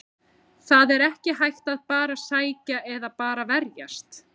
Það er ekki hægt að bara sækja eða bara verjast.